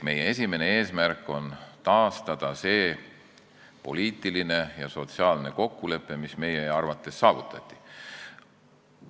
Meie esimene eesmärk on taastada see poliitiline ja sotsiaalne kokkulepe, mis meie arvates saavutati.